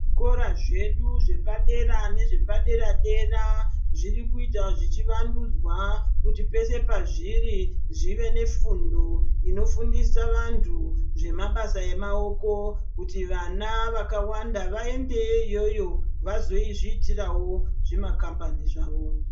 Zvikora zvedu zvepadera nezvepadera-dera zvirikuita zvichivandudzwa kuti pese pazviri zvive nefundo inofundisa vantu zvemabasa emaoko, kuti vana vakawanda vaendeyo iyoyo vazozviitirawo zvimakambani zvavo.